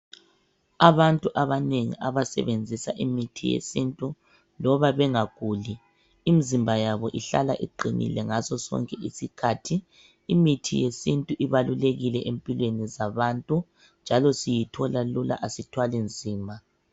Abantu abanengi abasebenzisa imithi yesintu loba bengaguli imizimba yabo ihlala iqinile ngaso sonke isikhathi .Imithi yesintu ibalulekile empilweni zabantu njalo siyithola lula asithwali nzima .